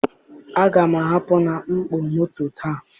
Aga m ahapụ na mkpọ moto taa.